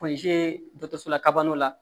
Pɔnze dɔ la kabanaw la